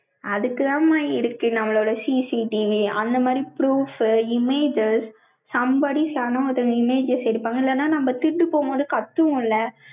அதுக்குதாம்மா இருக்கு, நம்மளோட CCTV, அந்த மாதிரி proof, images, somebody saw images எடுப்பாங்க. இல்லைன்னா, நம்ம திருட்டு போகும்போது, கத்துவோம்ல,